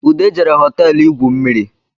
Ude jere hoteelu igwu mmiri